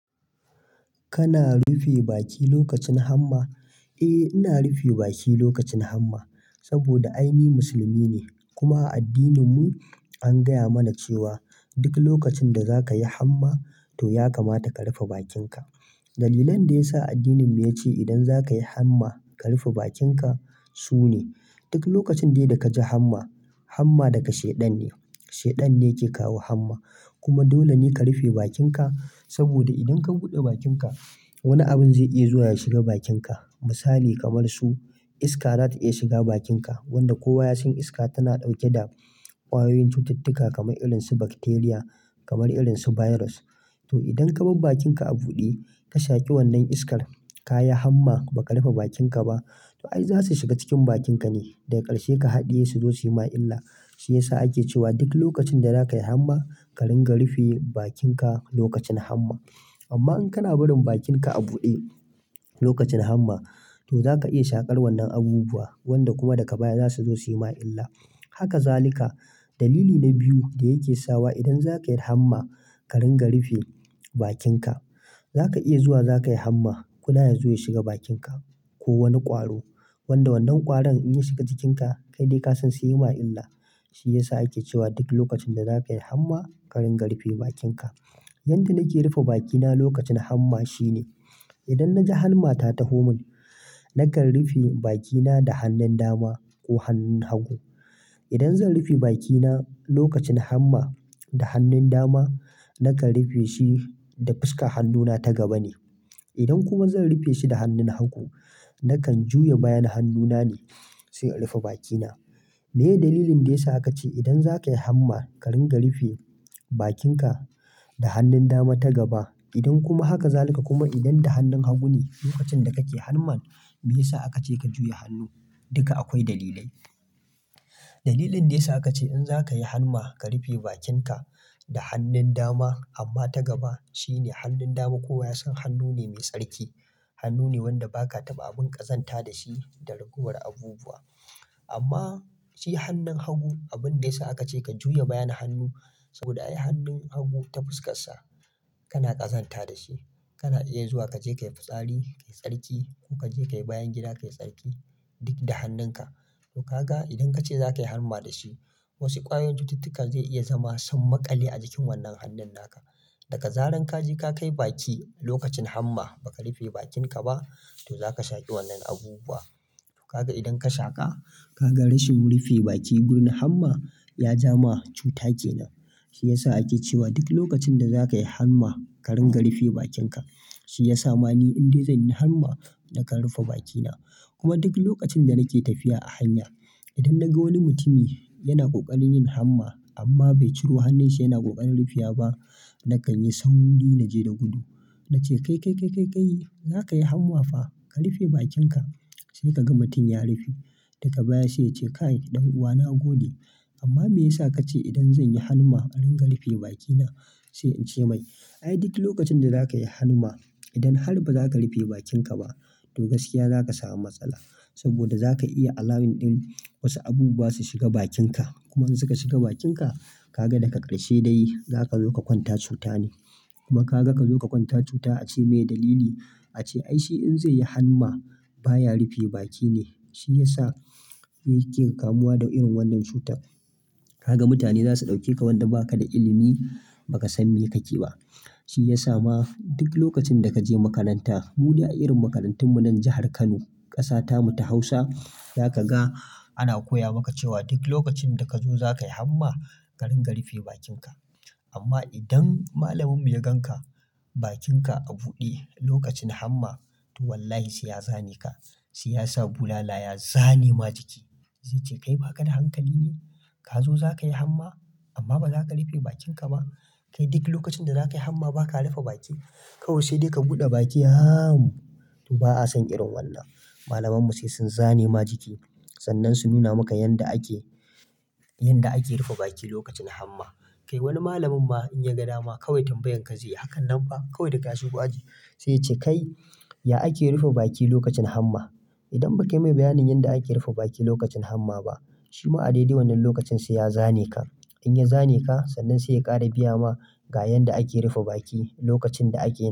Kana rufe baki lokacin hamma? Eh, ina rufe baki lokacin hamma saboda ai ni musulmi ne. Kuma a addininmu an gaya mana cewa duk lokacin da za ka yi hamma, to ya kamata ka rufe bakinka. Dalilan da ya sa addininmu ya ce idan za ka yi hamma ka rufe bakinka su ne, duk lokacin dai da ka ji hamma, hamma daga Shaiɗan ne. Shaiɗan ne ke kawo hamma. Kuma dole ne ka rufe bakinka saboda idan ka buɗe bakinka wani abin zai iya zuwa ya shiga bakinka. Misali kamar su iska za ta iya shiga bakinka wanda kowa ya san iska tana ɗauke da ƙwayoyin cututtuka kamar irin su bakteriya, kamar irin su baiyiros. To idan ka bar bakinka a buɗe, ka shaƙi wannan iskar, ka yi hamma ba ka rufe bakinka ba, to ai za su shiga cikin bakinka ne. Daga ƙarshe ka haɗiye su zo su yi ma illa. Shi ya sa ake cewa duk lokacin da za ka yi hamma, ka ringa rufe bakinka lokacin hamma. Amma in kana barin bakinka a buɗe lokacin hamma, to za ka iya shaƙar wannan abubuwa wanda kuma daga baya za su zo su yi ma illa. Haka zalika. Dalili na biyu da yake sawa idan za ka yi hamma ka ringa rufe bakinka, za ka iya zuwa za ka yi hamma, kuda ya zo ya shiga bakinka ko wani ƙwaro. Wanda wannan ƙwaron in ya shiga cikinka, kai dai ka san sai yayi ma illa. Shi ya sa ake cewa duk lokacin da za ka yi hamma, ka ringa rufe bakinka. Yanda nake rufe bakina lokacin hamma shine idan na ji hanma ta taho mun, nakan rufe bakina da hannun dama ko hannun hagu. Idan zan rufe bakina lokacin hamma da hannun dama, nakan rufe shi da fuskar hannuna ta gaba ne. Idan kuma zan rufe shi da hannun hagu, nakan juya bayan hannuna ne sai in rufe bakina. Me dalilin da ya sa aka ce idan za ka yi hamma ka ringa rufe bakinka da hannun dama ta gaba? Idan kuma haka zalika kuma idan da hannun hagu ne lokacin da kake hanman, me ya sa aka ce ka juya hannu? Duka akwai dalilai. Dalilin da ya sa aka ce in za ka yi hanma ka rufe bakinka da hannun dama amma ta gaba shine hannun dama kowa ya san hannu ne mai tsarki. Hannu ne wanda ba ka taɓa abin ƙazanta da shi da ragowar abubuwa. Amma shi hannun hagu, abin da ya sa aka ce ka juya bayan hannu saboda ai hannun hagu ta fuskarsa kana ƙazanta da shi. Kana iya zuwa ka je ka yi fitsari ka yi tsarki ko ka je ka yi bayan gida ka yi tsarki duk da hannunka. To ka ga idan ka ce za ka yi hanma da shi, wasu ƙwayoyin cututtuka zai iya zama summakale a jikin wannan hannun naka. Daga zarar ka je ka kai baki lokacin hamma ba ka rufe bakinka ba, to za ka shaƙi wannan abubuwa. To ka ga idan ka shaƙa, ka ga rashin rufe baki gun hamma ya ja ma cuta kenan. Shi ya sa ake cewa duk lokacin da za ka yi hamma ka ringa rufe bakinka. Shi ya sa ma ni in dai zan yi hamma nakan rufe bakina. Kuma duk lokacin da nake tafiya a hanya, idan na ga wani mutum yana ƙoƙarin yin hamma amma bai ciro hannunshi yana ƙoƙarin rufewa ba, nakan yi sauri naje da gudu. Na ce, "Kai, kai, kai, kai, kai, za ka yi hamma fa? Ka rufe bakinka. Sai ka ga mutum ya rufe. Daga baya sai ya ce, "Kai ɗan uwa na gode." Amma me ya sa ka ce idan zan yi hamma in rinƙa rufe bakina? Sai in ce mai, "Ai duk lokacin da za ka yi hamma, idan har ba za ka rufe bakinka ba, to gaskiya za ka samu matsala saboda za ka iya alawin ɗin wasu abubuwa su shiga bakinka. Kuma in suka shiga bakinka, ka ga daga ƙarshe dai za ka zo ka kwanta cuta ne. Kuma ka ga ka zo ka kwanta cuta ace me dalili? Ace ai shi in zai yi hamma baya rufe baki ne. Shi ya sa yake kamuwa da irin wannan cutar." kaga mutane za su ɗauke ka wanda ba ka da ilimi ba ka san me kake ba. Shi ya sa ma duk lokacin da ka je makaranta, mude a irin makarantunmu nan jahar Kano, ƙasa ta mu ta Hausa, za ka ga ana koya maka cewa duk lokacin da ka zo za ka yi hamma ka ringa rufe bakinka. Amma idan malamin ya gan ka bakinka a buɗe lokacin hamma, to wallahi sai ya zane ka. Sai ya sa bulala ya zane ma jiki. Zai ce, "Kai ba ka da hankali ne? Ka zo za ka yi hamma amma ba za ka rufe bakinka ba? Kai duk lokacin da za ka yi hamma ba ka rufe baki? Kawai sai dai ka buɗe baki haaam." to ba a son irin wannan. Malamanmu sai sun zane ma jiki sannan su nuna maka irin yanda ake, yanda ake rufe baki lokacin hamma. Kai wani malamin ma in ya ga dama kawai tambayar ka zai yi. Hakanan fa kawai da ka shigo aji sai ya ce, "Kai, ya ake rufe baki lokacin hamma?" Idan ba kai mai bayanin yanda ake rufe baki lokacin hamma ba, shi ma a dai dai wannan lokacin sai ya zane ka. In ya zane ka, sannan sai ya ƙara biya ma ga yanda ake rufe baki lokacin da ake.